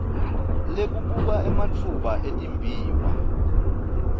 lekubuka ematfuba etimbiwa